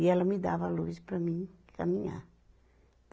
E ela me dava a luz para mim caminhar.